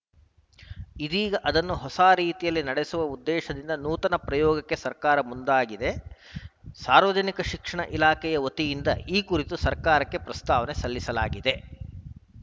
ಇದೀಗ ಅದನ್ನು ಹೊಸ ರೀತಿಯಲ್ಲಿ ನಡೆಸುವ ಉದ್ದೇಶದಿಂದ ನೂತನ ಪ್ರಯೋಗಕ್ಕೆ ಸರ್ಕಾರ ಮುಂದಾಗಿದೆ ಸಾರ್ವಜನಿಕ ಶಿಕ್ಷಣ ಇಲಾಖೆ ವತಿಯಿಂದ ಈ ಕುರಿತು ಸರ್ಕಾರಕ್ಕೆ ಪ್ರಸ್ತಾವನೆ ಸಲ್ಲಿಸಲಾಗಿದೆ